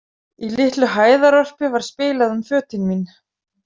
Í litlu hæðarorpi var spilað um fötin mín.